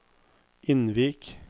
Innvik